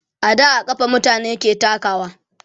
a da a kafa mutane ke takawa